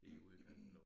I udkanten af